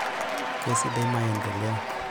kasidai maendeleo